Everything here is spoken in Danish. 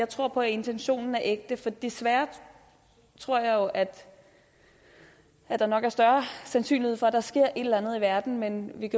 tror på at intentionen er ægte desværre tror jeg jo at der nok er større sandsynlighed for at der sker et eller andet i verden men vi